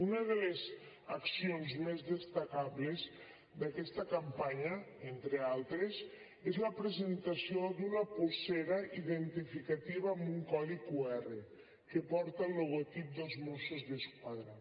una de les accions més destacables d’aquesta campanya entre altres és la presentació d’una polsera identificativa amb un codi qr que porta el logotip dels mossos d’esquadra